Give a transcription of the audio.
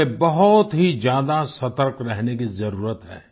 हमें बहुत ही ज्यादा सतर्क रहने की जरूरत है